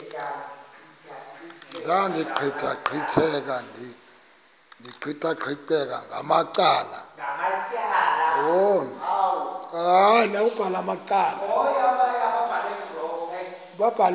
ndaqetheqotha ndiqikaqikeka ngamacala